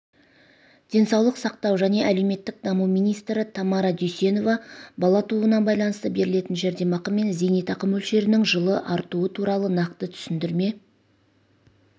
денсаулық сақтау және әлеуметтік даму министрі тамара дүйсенова бала тууына байланысты берілетін жәрдемақы мен зейнетақы мөлшерінің жылы артуы туралы нақты түсіндірме